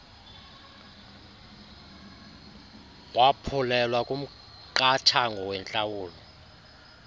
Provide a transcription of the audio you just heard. waphulelwa kumqathango wentlawulo